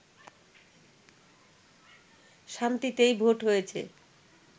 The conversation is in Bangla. শান্তিতেই ভোট হয়েছে